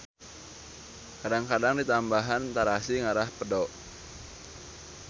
Kadang-kadang ditambahan tarasi ngarah pedo